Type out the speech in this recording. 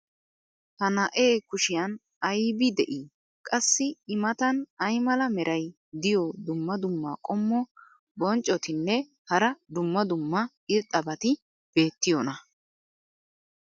ha na'ee kushiyan aybbi de'ii? qassi i matan ay mala meray diyo dumma dumma qommo bonccotinne hara dumma dumma irxxabati beetiyoonaa?